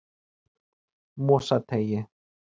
Mosateigi